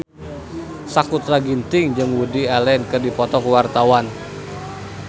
Sakutra Ginting jeung Woody Allen keur dipoto ku wartawan